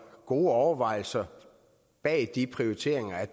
gode overvejelser bag de prioriteringer